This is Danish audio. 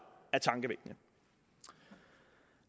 er tankevækkende